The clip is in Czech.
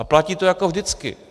A platí to jako vždycky.